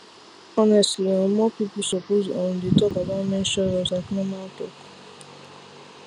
honestly um more people suppose um dey talk about menstrual health like normal talk